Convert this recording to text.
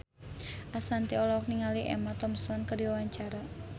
Ashanti olohok ningali Emma Thompson keur diwawancara